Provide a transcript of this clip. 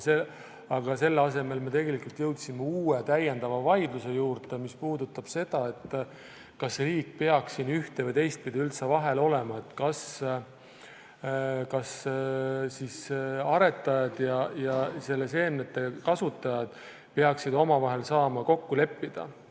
Aga selle asemel me jõudsime hoopis uue vaidluse juurde, mis puudutab seda, kas riik peaks siin üldse ühte- või teistpidi vahel olema, kas siis aretajad ja seemnete kasutajad peaksid omavahel saama kokku leppida.